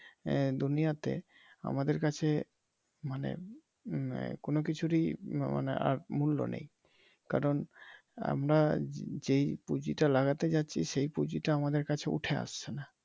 এই দুনিয়াতে আমাদের কাছে মানে কোন কিছুরই মানে আর মূল্য নেই। কারন আমরা যেই পুঁজিটা লাগাতে চাচ্ছি সে পুঁজিটা আমাদের কাছে উঠে আসছে নাহ